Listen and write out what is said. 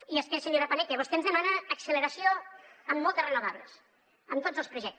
i és que senyora paneque vostè ens demana acceleració en moltes renovables en tots els projectes